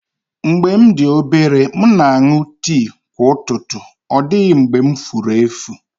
Mgbe m dị obere, m na-aṅụ tii kwa ụtụtụ, ọ dịghị mgbe m furu efu